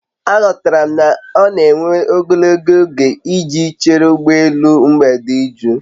Aghọtara m na ọ na-ewe ogologo oge iji chere ụgbọ elu mgbede iju